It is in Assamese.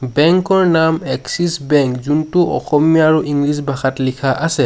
বেংক ৰ নাম এক্সিচ বেংক যোনটো অসমীয়া আৰু ইংলিছ ভাষাত লিখা আছে।